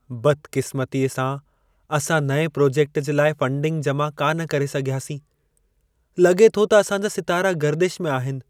बदक़िस्मतीअ सां असां नएं प्रोजेक्ट जे लाइ फ़ंडिंग जमा कान करे सघियासीं। लगे॒ थो त असांजा सितारा गर्दिश में आहिनि!